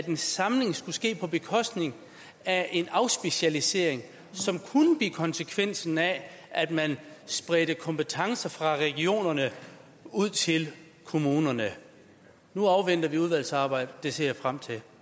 en samling skulle ske på bekostning af afspecialisering som kunne blive konsekvensen af at man spredte kompetencer fra regionerne ud til kommunerne nu afventer vi udvalgsarbejdet det ser jeg frem til